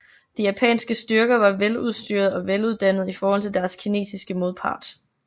De japanske styrker var veludstyret og veluddannet i forhold til deres kinesiske modpart